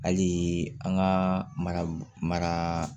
Hali an ka mara